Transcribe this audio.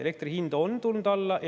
Elektri hind on tulnud alla.